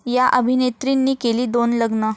...या अभिनेत्रींनी केली दोन लग्न